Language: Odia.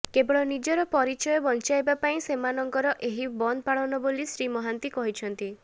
କେବଳ ନିଜର ପରିଚୟ ବଂଚାଇବା ପାଇଁ ସେମାନଙ୍କର ଏହି ବନ୍ଦ ପାଳନ ବୋଲି ଶ୍ରୀ ମହାନ୍ତି କହିଛନ୍ତି